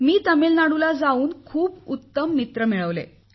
मी तामिळनाडूला जाऊन खूप उत्तम मित्र मिळवले